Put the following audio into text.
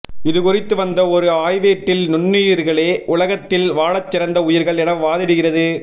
இதுக் குறித்து வந்த ஒரு ஆய்வேட்டில் நுண்ணுயிரிகளே உலகத்தில் வாழச் சிறந்த உயிர்கள் என வாதிடுகிறது